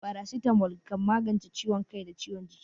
Farasitamol kan magance ciwon kai da ciwon jiki.